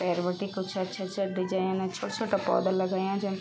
भैर बटी कक्छा अच्छा अच्छा डिजाईन अर छुट्ट छुट्टा पौधा लगयां जन --